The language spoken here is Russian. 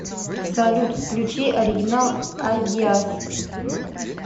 салют включи оригинал айдиас